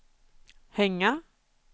hänga